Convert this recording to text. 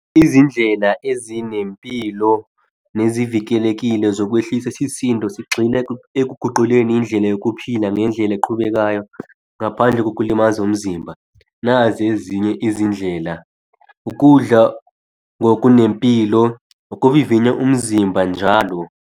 Izindlela ezinempilo nezivikelekile zokwehlisa isisindo, sigxile ekuguquleni indlela yokuphila ngendlela eqhubekayo. Ngaphandle kokulimaza umzimba. Nazi ezinye izindlela, ukudla okunempilo, ukuvivinya umzimba njalo.